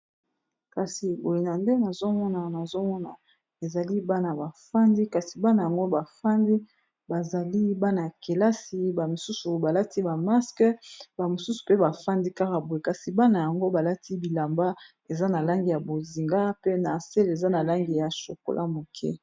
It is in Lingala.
kasi egoyi na nde nazomona nazomona ezali bana bafandi kasi bana yango bafandi bazali bana ya kelasi bamisusu balati bamaske bamosusu pe bafandi kaka boe kasi bana yango balati bilamba eza na langi ya bozinga pe na asele eza na langi ya shokola moke